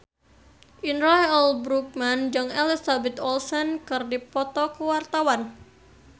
Indra L. Bruggman jeung Elizabeth Olsen keur dipoto ku wartawan